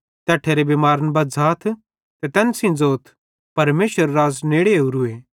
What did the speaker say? तैट्ठेरे बिमारन बज़्झ़ाथ ते तैन सेइं ज़ोथ परमेशरेरू राज़ नेड़े ओरूए